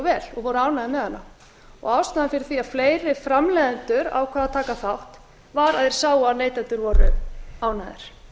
vel og voru ánægðir með hana ástæðan fyrir því að fleiri framleiðendur ákváðu að taka þátt var að þeir sáu að neytendur voru ánægðir